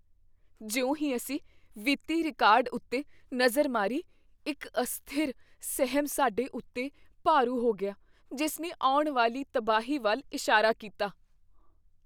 ਜਿਉਂ ਹੀ ਅਸੀਂ ਵਿੱਤੀ ਰਿਕਾਰਡ ਉੱਤੇ ਨਜ਼ਰ ਮਾਰੀ, ਇੱਕ ਅਸਥਿਰ ਸਹਿਮ ਸਾਡੇ ਉੱਤੇ ਭਾਰੂ ਹੋ ਗਿਆ, ਜਿਸ ਨੇ ਆਉਣ ਵਾਲੀ ਤਬਾਹੀ ਵੱਲ ਇਸ਼ਾਰਾ ਕੀਤਾ।